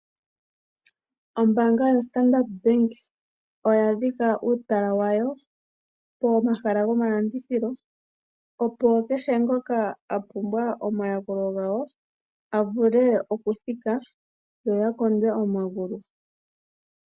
Ombanga yoStandard bank oya dhika uutala wayo po mahala gomalandithilo, Opo kehe ngoka a pumbwa oma yakulo gawo avule oku thika yoya kondwe omagulu.